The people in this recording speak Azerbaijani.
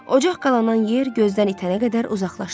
Ocaq qalanan yer gözdən itənə qədər uzaqlaşdılar.